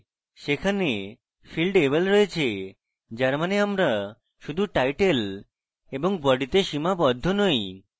সেখানে field able রয়েছে যার means আমরা শুধু title এবং body তে সীমাবদ্ধ নই